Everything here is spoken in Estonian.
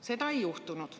Seda ei juhtunud.